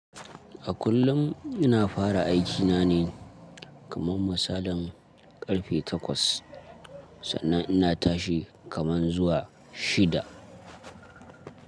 A kullun ina fara aikina ne kaman misalin karfe takwas sannan ina tashi kaman zuwa shida.